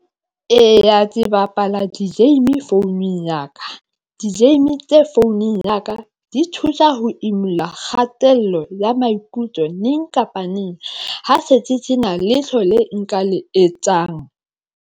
Eya, ke bapala di-game founung ya ka di-game tse founung ya ka, di thusa ho imulla kgatello ya maikutlo neng kapa neng ha se ke sena letho le nka le etsang.